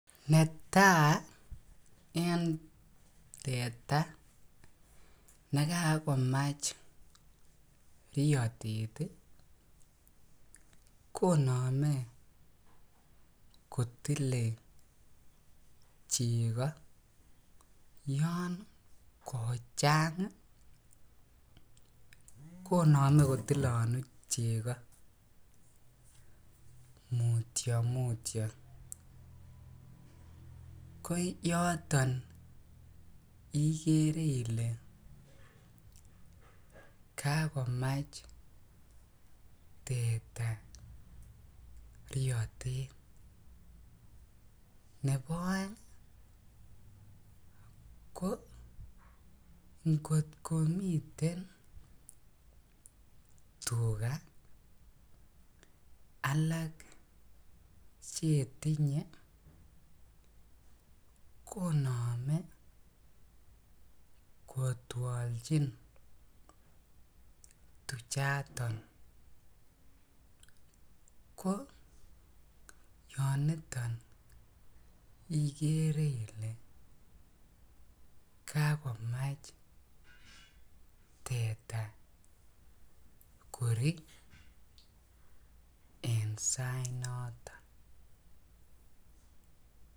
Netai en teta nekakomach riyotet ii konome kotile chego, yan kochany ii konome kotilonu chego mutyo mutyo, ko yoton igere ile kakomach teta riyotet, nebo oeng ko ng'otkomiten tuga alak chetinye konoome kotwolchin tuchaton, ko yoniton igere ile kakomach teta korii en sainoton.